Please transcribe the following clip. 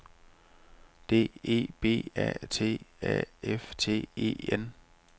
D E B A T A F T E N